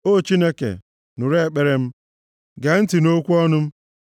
O Chineke, nụrụ ekpere m; gee ntị nʼokwu ọnụ m.